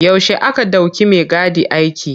Yaushe aka ɗauki maigadi aiki.